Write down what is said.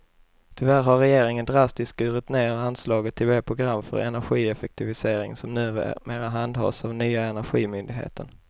Tyvärr har regeringen drastiskt skurit ned anslaget till det program för energieffektivisering som numera handhas av nya energimyndigheten.